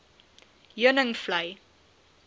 heuningvlei